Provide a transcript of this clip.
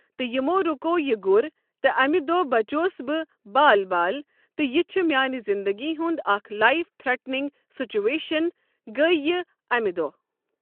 تہٕ یِمو رکوو یہِ گر تہٕ اَمہِ دۄہ بَچیوس بہٕ بال بال تہٕ یہِ چھِ میٛانہ زندٕگی ہنٛد اَکھ لایف تھرٹنک سِچویشن گٔیہ یہ امہ دۄہ۔